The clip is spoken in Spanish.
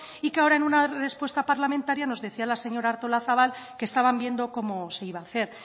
y que ahora en una respuesta parlamentaria nos decía la señora artolazabal que estaban viendo cómo se iba a hacer